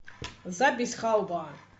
запись халва